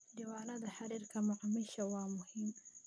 Diiwaanada xiriirka macaamiisha waa muhiim.